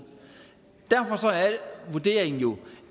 derfor er vurderingen jo